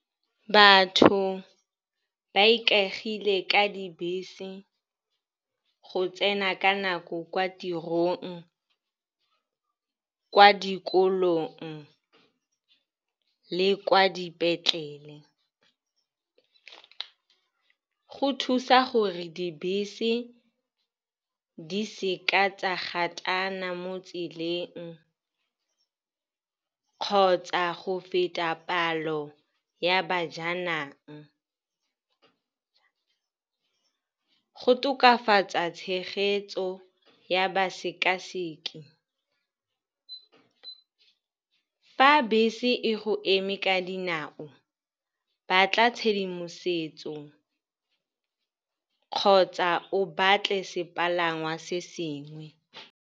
Batho ba ikaegile ka dibese go tsena ka nako kwa tirong, kwa dikolong le kwa dipetlele. Go thusa gore dibese di seka tsa gotana mo tseleng kgotsa go feta palo ya bajanang. Go tokafatsa tshegetso ya basekaseki. Fa bese e go eme ka dinao, batla tshedimosetso kgotsa o batle sepalangwa se sengwe.